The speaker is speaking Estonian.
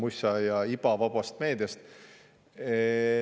Sussa-mussa ja iba vabast meediast.